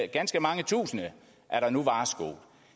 ganske mange tusinde